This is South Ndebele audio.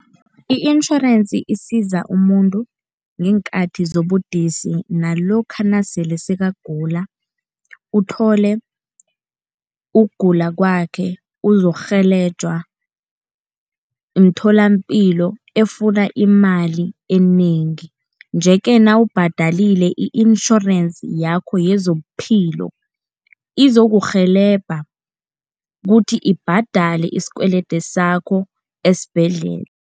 I-insurance isiza umuntu ngeenkhati zobudisi nalokha nasele sekagula, uthole ukugula kwakhe uzokurhelejwa mtholapilo efuna imali enengi. Nje-ke nawubhadalile i-insurance yakho yezobuphilo, izokurhelebha kuthi ibhadele isikwelede sakho esibhedlela.